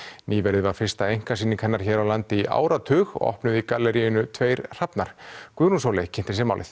nýverið var fyrsta einkasýning hennar hér á landi í áratug opnuð í galleríinu tveir hrafnar Guðrún Sóley kynnti sér málið